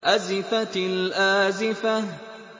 أَزِفَتِ الْآزِفَةُ